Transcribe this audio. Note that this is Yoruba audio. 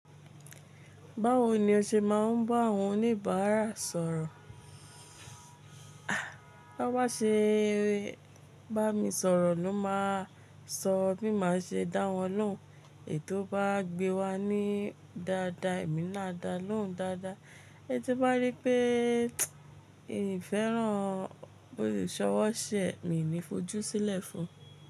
Báwo ni o ṣe máa ń bá àwọn oníbàárà sọ̀rọ̀? Bá ṣe bá mi sọ̀rọ̀ ló máa sọ bí màá ṣe dá wọn lóhùn ètó bá gbé wa ní dáadáa, èmi náà a dá lóhùn dáadáa. Ẹni tí bá rí pé ìn feran isọwọ́ṣẹ́ mi ní fojú sílẹ̀ fún.